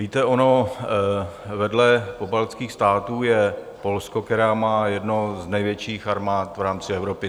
Víte, ono vedle pobaltských států je Polsko, které má jednu z největších armád v rámci Evropy.